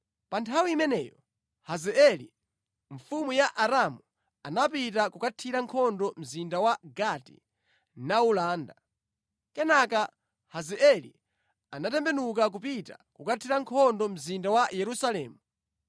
Pa nthawi imeneyo, Hazaeli, mfumu ya Aramu anapita kukathira nkhondo mzinda wa Gati nawulanda. Kenaka Hazaeli anatembenuka kupita kukathira nkhondo mzinda wa Yerusalemu.